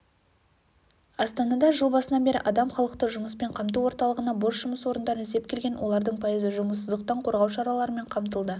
астанада жыл басынан бері адам халықты жұмыспен қамту орталығына бос жұмыс орындарын іздеп келген олардың пайызы жұмыссыздықтан қорғау шараларымен қамтылды